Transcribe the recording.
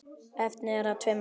Efnið er af tveimur gerðum.